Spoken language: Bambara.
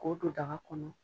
K'o don daga kɔnɔ.